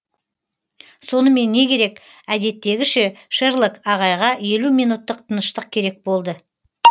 сонымен не керек әдеттегіше шерлок ағайға елу минуттық тыныштық керек болды